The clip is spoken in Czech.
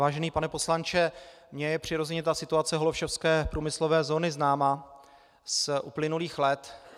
Vážený pane poslanče, mně je přirozeně ta situace holešovské průmyslové zóny známa z uplynulých let.